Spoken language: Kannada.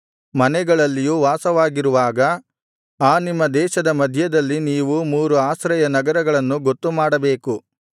ಮನೆಗಳಲ್ಲಿಯೂ ವಾಸವಾಗಿರುವಾಗ ಆ ನಿಮ್ಮ ದೇಶದ ಮಧ್ಯದಲ್ಲಿ ನೀವು ಮೂರು ಆಶ್ರಯ ನಗರಗಳನ್ನು ಗೊತ್ತುಮಾಡಬೇಕು